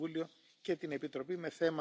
échte kringloopeconomie. Dat